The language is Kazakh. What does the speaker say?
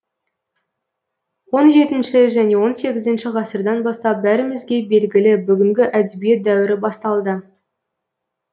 он жетінші және он сегізінші ғасырдан бастап бәрімізге белгілі бүгінгі әдебиет дәуірі басталды